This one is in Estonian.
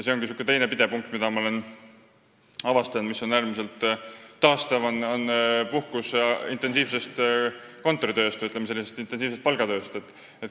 See ongi teine pidepunkt, mille ma olen avastanud – see on äärmiselt taastav puhkus intensiivsest kontoritööst või intensiivsest palgatööst.